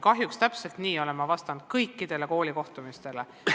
Kahjuks täpselt nii olen ma vastanud ka kõikidel kohtumistel koolides.